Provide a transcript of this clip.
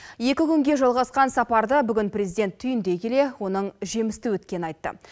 екі күнге жалғасқан сапарды бүгін президент түйіндей келе оның жемісті өткенін айтты